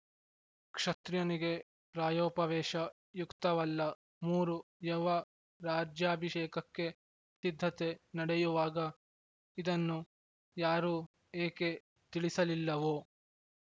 ಕ್ಷತ್ರಿಯನಿಗೆ ಪ್ರಾಯೋಪವೇಶ ಯುಕ್ತವಲ್ಲ ಮೂರು ಯೌವ ರಾಜ್ಯಭಿಷೇಕಕ್ಕೆ ಸಿದ್ಧತೆ ನಡೆಯುವಾಗ ಇದನ್ನು ಯಾರೂ ಏಕೆ ತಿಳಿಸಲಿಲ್ಲವೊ